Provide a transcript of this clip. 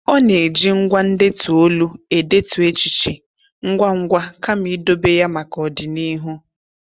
Ọ na-eji ngwá ndetu olu edetu echiche ngwangwa kama idobe ya maka ọdịnihu.